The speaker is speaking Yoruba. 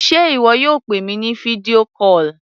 Sé ìwọ yóò pè mi ní fídíò call?